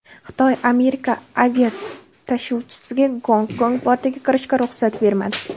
Xitoy Amerika aviatashuvchisiga Gonkong portiga kirishga ruxsat bermadi.